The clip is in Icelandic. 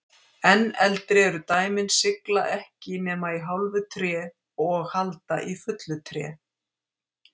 Enn eldri eru dæmin sigla ekki nema í hálfu tré og halda í fullu tré.